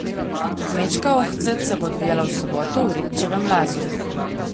Kmečka ohcet se bo odvijala v soboto v Ribčevem lazu.